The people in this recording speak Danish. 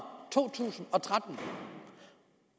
to tusind og tretten